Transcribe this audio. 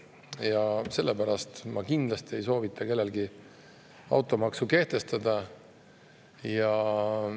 Ja sellepärast ma kindlasti ei soovita kellelgi automaksu kehtestada.